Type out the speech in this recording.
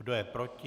Kdo je proti?